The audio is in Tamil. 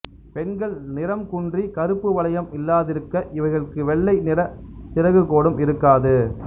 பெண்கள் நிறம் குன்றி கருப்பு வளையம் இல்லாதிருக்க இவைகட்கு வெள்ளை நிற சிறகு கோடும் இருக்காது